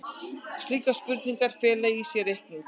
Slíkar spurningar fela í sér reikning.